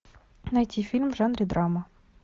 найти фильм в жанре драма